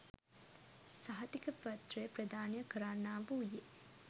සහතිකපත්‍රය ප්‍රධානය කරන්නා වූයේ